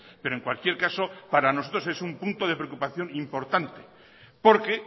pero en cualquier caso para nosotros es un punto de preocupación importante porque